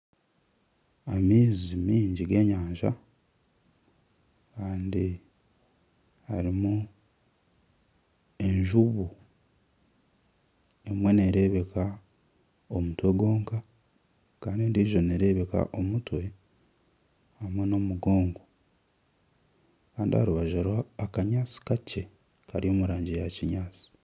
Amaizi mingi g'enyanja kandi harimu enjubu. Emwe nereebeka omutwe gwonka kandi endijo nereebeka omutwe hamwe nomugongo kandi aharubaju hariho akanyaatsi kakye kari omu rangi ya kinyaatsi.